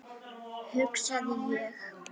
hugsaði ég.